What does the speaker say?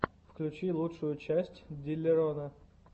включи лучшую часть диллерона